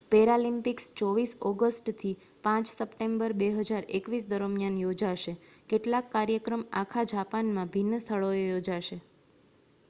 Paralympics 24 August થી 5 September 2021 દરમિયાન યોજાશે કેટલાક કાર્યક્રમ આખા જાપાનમાં ભિન્ન સ્થળોએ યોજાશે